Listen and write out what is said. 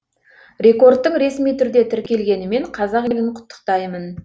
рекордтың ресми түрде тіркелгенімен қазақ елін құттықтаймын